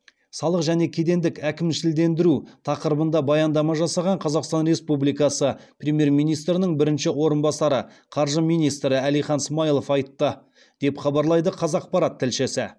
салық және кедендік әкімшілендіру тақырыбында баяндама жасаған қазақстан республикасы премьер министрінің бірінші орынбасары қаржы министрі әлихан смайылов айтты деп хабарлайды қазақпарат тілшісі